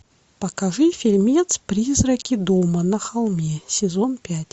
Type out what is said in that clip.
покажи фильмец призраки дома на холме сезон пять